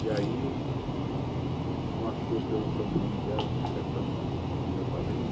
E aí, não achou pelo sobrenome dela, falei, será que está no nome do do meu padrinho?